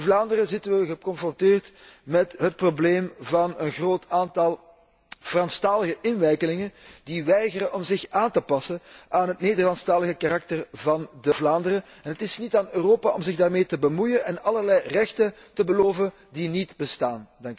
In Vlaanderen worden we geconfronteerd met het probleem van een groot aantal Franstalige inwijkelingen die weigeren zich aan te passen aan het Nederlandstalige karakter van Vlaanderen en het is niet aan Europa om zich daarmee te bemoeien en allerlei rechten te beloven die niet bestaan.